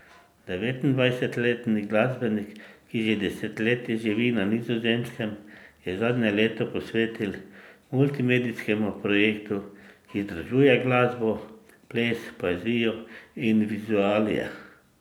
Devetindvajsetletni glasbenik, ki že desetletje živi na Nizozemskem, je zadnje leto posvetil multimedijskemu projektu, ki združuje glasbo, ples, poezijo in vizualije.